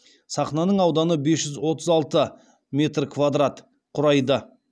сахнаның ауданы бес жүз отыз алты метр квадрат құрайды